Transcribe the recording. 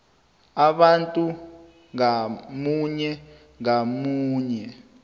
abantu ngamunye ngamunye